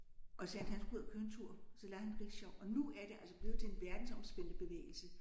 Og så sagde han han skulle ud og køre en tur. Så lejede han en rickshaw og nu er det altså blevet til en verdensomspændende bevægelse